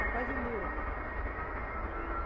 Tá quase duro.